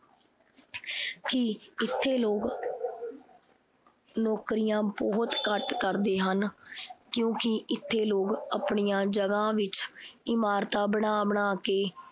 ਕੀ ਇਥੇ ਲੋਗ ਨੌਕਰੀਆਂ ਬਹੁਤ ਘੱਟ ਕਰਦੇ ਹਨ ਕਿਉਂਕਿ ਇਥੇ ਲੋਗ ਆਪਣੀਆਂ ਜਗ੍ਹਾ ਵਿਚ ਇਮਾਰਤਾਂ ਬਣਾ-ਬਣਾ ਕੇ